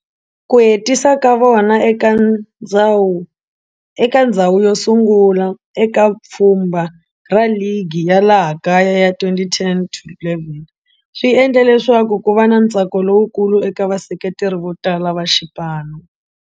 Ku hetisa ka vona eka ndzhawu yo sungula eka pfhumba ra ligi ya laha kaya ya 2010 to 11 swi endle leswaku ku va na ntsako lowukulu eka vaseketeri vo tala va xipano.